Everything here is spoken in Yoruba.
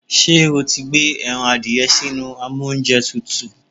Ṣé o ti gbé ẹran adìẹ sínú amóúnjẹtutù?